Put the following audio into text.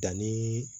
Danni